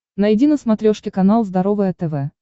найди на смотрешке канал здоровое тв